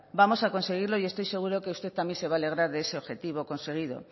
vamos a conseguirlo y estoy seguro que usted también se va a alegrar de ese objetivo conseguido